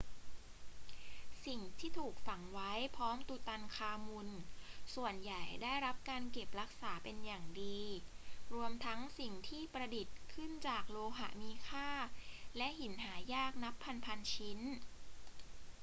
สิ่งที่ถูกฝังไว้พร้อมตุตันคามุนส่วนใหญ่ได้รับการเก็บรักษาเป็นอย่างดี รวมทั้งสิ่งที่ประดิษฐ์ขึ้นจากโลหะมีค่าและหินหายากนับพัน ๆ ชิ้น